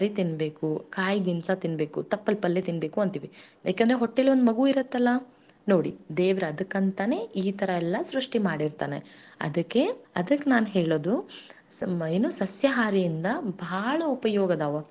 ನಾವ್ ಸಸ್ಯಹಾರಿ ಇದ್ವಿ ಅಂದ್ರ ನಮ್ ಮಕ್ಳು ಸಸ್ಯಾಹಾರಿ ಆಗ್ತಾರ ಅದಕ್ಕಂತ ನಾನ್ ಹೇಳೋದು ಇಗಾ ಪಾಪಾ ಹೊತ್ತು ತಂದು ಮಾರುವಂತವರು ಇರ್ತಾರಲ್ಲಾ ಕೈಯಲ್ಲೇ ತಂದು ಮಾರುವರ್ ಇರ್ತಾರೆ ಅಂಗಡಿ ಹಾಕಿರೋರು ಇರ್ತಾರೆ ಅವ್ರು ಎಲ್ಲರ್ಗು ನಾವು ಬದಕಕ್ಕ ಬಿಡ್ಬೇಕಲ್ಲಾ ಅದಕ್ಕೆ.